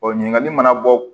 ɲininkali mana bɔ